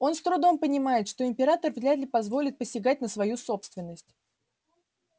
он с трудом понимает что император вряд ли позволит посягать на свою собственность